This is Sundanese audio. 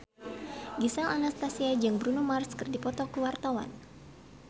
Gisel Anastasia jeung Bruno Mars keur dipoto ku wartawan